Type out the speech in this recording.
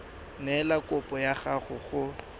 neela kopo ya gago go